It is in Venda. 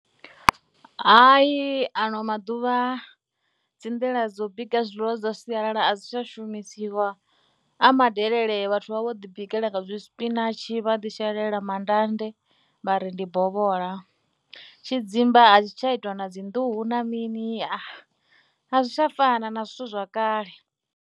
Hai ano maḓuvha dzi nḓila dzo bika zwiḽiwa zwa sialala a dzi tsha shumisiwa, a madelele vhathu vha vha vho ḓibikela nga zwi spinach, vha ḓi shelela manḓanḓe, vha ri ndi bola. Tshidzimba a tshi tsha itiwa na dzi nḓuhu na mini, a zwi tsha fana na zwithu zwa kale.